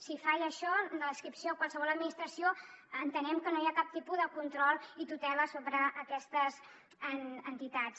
si falla això de l’adscripció a qualsevol administració entenem que no hi ha cap tipus de control i tutela sobre aquestes entitats